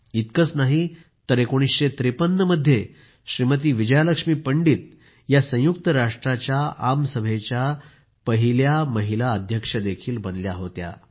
इतकेच नाही तर 1953 मध्ये श्रीमती विजया लक्ष्मी पंडित या संयुक्त राष्ट्राच्या आमसभेच्या पहिल्या महिला अध्यक्षही बनल्या होत्या